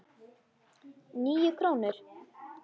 Níu krónur?